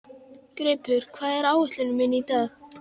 Greipur, hvað er á áætluninni minni í dag?